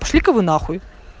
пошли ка вы на хуй